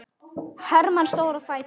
Hermann stóð á fætur.